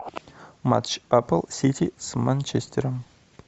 матч апл сити с манчестером